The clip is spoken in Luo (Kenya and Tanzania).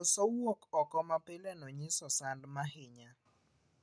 Koso wuok oko mapileno nyiso sand mahinya.